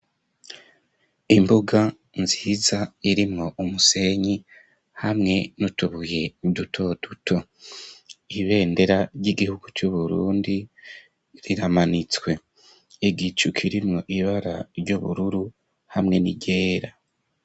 Imbuga nziza irimwo umusenyi hamwe n'utubuye duto duto, ibendera ry'igihugu c'uburundi riramanitswe, igicu kirimwo ibara ry'ubururu hamwe n'iryera.